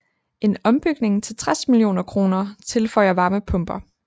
En ombygning til 60 mio kr tilføjer varmepumper